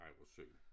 Ej hvor synd